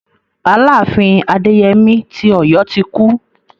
Aláàfin Adéyemí ti Ọ̀yọ́ ti kú.